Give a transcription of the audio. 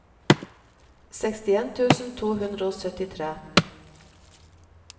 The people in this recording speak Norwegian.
sekstien tusen to hundre og syttitre